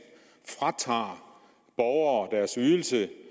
fratager borgere deres ydelse